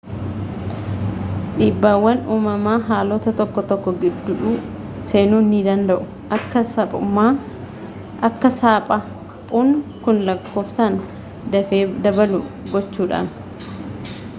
dhiibbaawwan uumamaa haalota tokko tokko gidduu seenuu ni danda'u akka saphaphuun kun lakkoofsaan dafee dabalu gochuudhaan